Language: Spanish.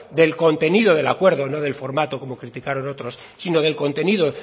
del contenido del acuerdo no del formato como criticaron otros sino del contenido